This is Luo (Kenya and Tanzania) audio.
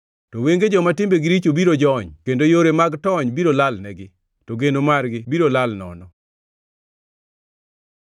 To wenge joma timbegi richo biro jony kendo yore mag tony biro lalnegi; to geno margi biro lal nono.”